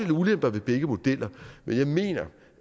og ulemper ved begge modeller men jeg mener